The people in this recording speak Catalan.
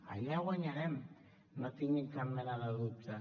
allà guanyarem no en tinguin cap mena de dubte